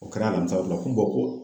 O kɛra alamisa ko ko